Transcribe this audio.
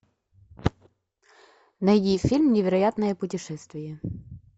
найди фильм невероятное путешествие